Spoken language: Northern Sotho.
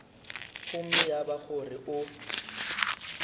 gomme ya ba gore o